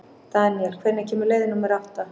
Daniel, hvenær kemur leið númer átta?